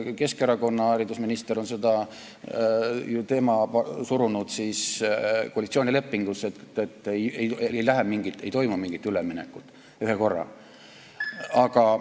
Keskerakonna haridusminister on surunud koalitsioonilepingusse, et ei toimu mingit üleminekut ühekorraga.